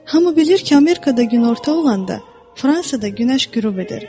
Hamı bilir ki, Amerikada günorta olanda, Fransada günəş qürub edir.